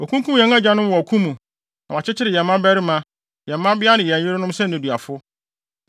Wɔakunkum yɛn agyanom wɔ ɔko mu, na wɔakyekyere yɛn mmabarima, yɛn mmabea ne yɛn yerenom sɛ nneduafo.